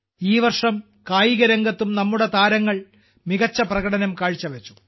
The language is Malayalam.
ഈ വർഷം കായികരംഗത്തും നമ്മുടെ താരങ്ങൾ മികച്ച പ്രകടനം കാഴ്ചവച്ചു